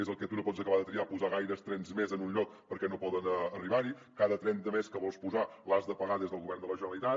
és el que tu no pots acabar de triar posar gaires trens més en un lloc perquè no poden arribar hi cada tren de més que vols posar l’has de pagar des del govern de la generalitat